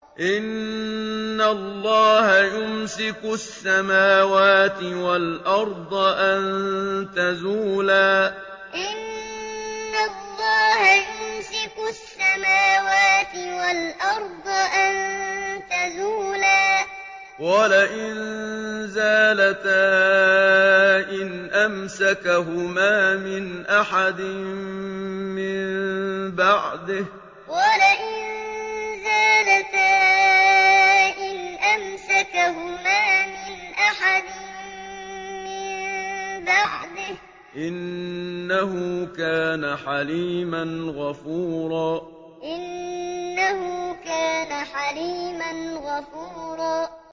۞ إِنَّ اللَّهَ يُمْسِكُ السَّمَاوَاتِ وَالْأَرْضَ أَن تَزُولَا ۚ وَلَئِن زَالَتَا إِنْ أَمْسَكَهُمَا مِنْ أَحَدٍ مِّن بَعْدِهِ ۚ إِنَّهُ كَانَ حَلِيمًا غَفُورًا ۞ إِنَّ اللَّهَ يُمْسِكُ السَّمَاوَاتِ وَالْأَرْضَ أَن تَزُولَا ۚ وَلَئِن زَالَتَا إِنْ أَمْسَكَهُمَا مِنْ أَحَدٍ مِّن بَعْدِهِ ۚ إِنَّهُ كَانَ حَلِيمًا غَفُورًا